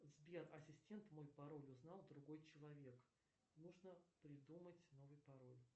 сбер ассистент мой пароль узнал другой человек нужно придумать новый пароль